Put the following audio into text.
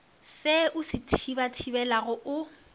se o se thibathibelago o